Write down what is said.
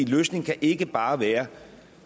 løsningen kan ikke bare være